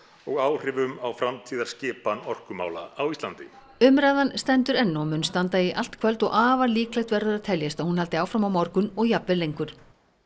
og áhrifum á framtíðarskipan orkumála á Íslandi umræðan stendur enn og mun standa í allt kvöld og afar líklegt verður að teljast að hún haldi áfram á morgun og jafnvel lengur